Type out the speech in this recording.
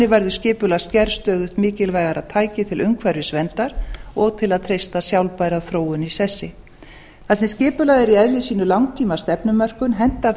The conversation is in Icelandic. verður skipulagsgerð stöðugt mikilvægara tæki til umhverfisverndar og til að treysta sjálfbæra þróun í sessi þar sem skipulag er í eðli sínu langtíma stefnumörkun hentar það